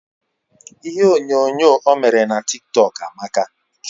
Ihe onyo nyoo o mere n'a TikTok Amaka